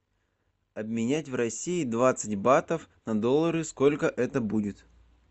обменять в россии двадцать бат на доллары сколько это будет